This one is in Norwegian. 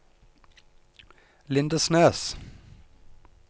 Lindesnes